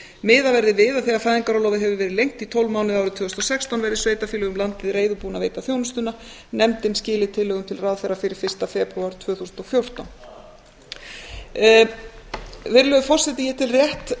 miðað verði við að þegar fæðingarorlofið hefur verið lengt í tólf mánuði árið tvö þúsund og sextán verði sveitarfélög um landið reiðubúin að veita þjónustuna nefndin skili tillögum til ráðherra fyrir fyrsta febrúar tvö þúsund og fjórtán virðulegur forseti ég tel rétt